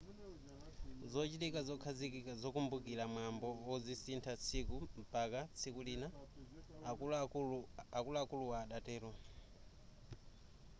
zochitika zokhazikika zokumbukira mwambo azisintha tsiku mpaka tsiku lina akuluakulu adatero